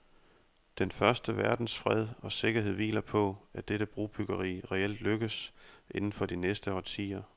Den første verdens fred og sikkerhed hviler på, at dette brobyggeri reelt lykkes inden for de næste årtier.